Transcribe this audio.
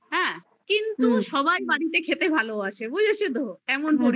হ্যা কিন্তু সবার বাড়িতে খেতে ভালোবাসি মানে যা